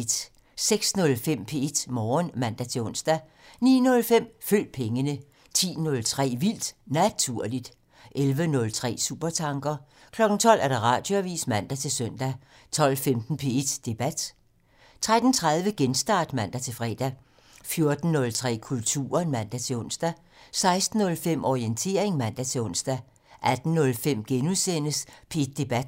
06:05: P1 Morgen (man-ons) 09:05: Følg pengene 10:03: Vildt Naturligt 11:03: Supertanker 12:00: Radioavisen (man-søn) 12:15: P1 Debat (man) 13:30: Genstart (man-fre) 14:03: Kulturen (man-ons) 16:05: Orientering (man-ons) 18:05: P1 Debat *